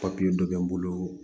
Papiye dɔ bɛ n bolo